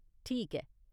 ठीक ऐ।